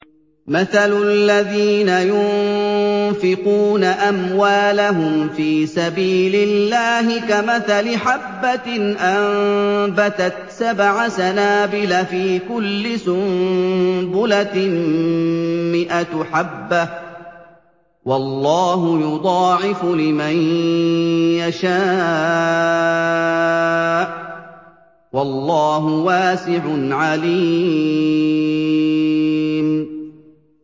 مَّثَلُ الَّذِينَ يُنفِقُونَ أَمْوَالَهُمْ فِي سَبِيلِ اللَّهِ كَمَثَلِ حَبَّةٍ أَنبَتَتْ سَبْعَ سَنَابِلَ فِي كُلِّ سُنبُلَةٍ مِّائَةُ حَبَّةٍ ۗ وَاللَّهُ يُضَاعِفُ لِمَن يَشَاءُ ۗ وَاللَّهُ وَاسِعٌ عَلِيمٌ